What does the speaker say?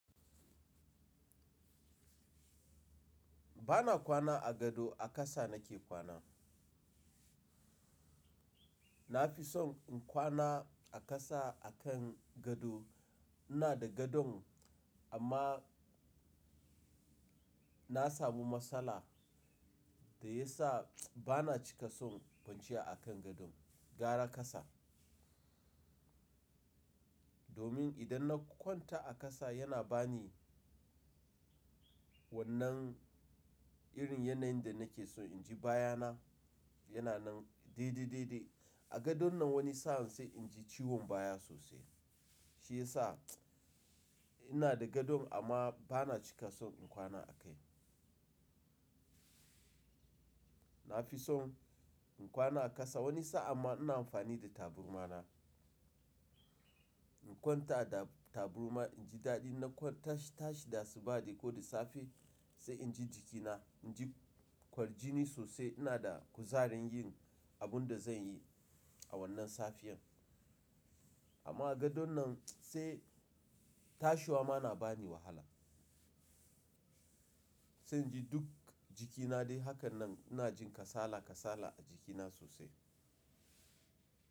Ba na kwana a gado, a ƙasa na ke kwana. Nafi son in kwana a ƙasa akan gado. Ina da gadon amma na samu matsala dayasa bana cika son kwanciya akan gadon, gaura ƙasa. Domin idan na kwanta a ƙasa yana bani wannan irin yanayin da nake son inji bayana yana nan daidai daidai. A gadon nan wani sa'an sai in ji ciwon baya sosai. Shi ya sa ina da gadon amma ba na cika son in kwana a kai. Nafi son in kwana a ƙasa wani sa'ama ina amfani da taburma na. In kwanta da taburma inji daɗi. Idan na kwanta na tashi, da asuba ko da safe sai in ji jikina, in ji kwarjini sosai. Ina da kuzarin yin abun da zan yi a wannan safiyar. Amma a gadon nan sai tashiwa ma nabani wahala. Sai in ji duk jikina dai. Haka nan ina jin kasala kasala a jikina sosai.